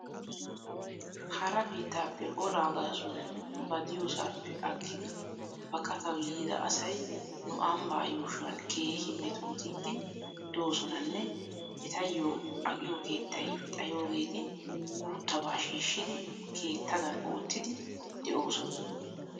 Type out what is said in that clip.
Hara biittappe olaa gaasuwan ba diyoosaappe aggidi baqataw yiida asay nu ambbaa yuushuwan keehi metootidi doosonanne etayyokka aqiyoo keettay xayoogeeti guuttabaa shiishidi keettadan oottidi de'oosona.